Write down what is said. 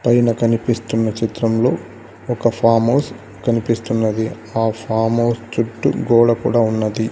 పైన కనిపిస్తున్న చిత్రంలో ఒక ఫామ్ హౌస్ కనిపిస్తున్నది ఆ ఫామ్ హౌస్ చుట్టూ గోడ కూడా ఉన్నది.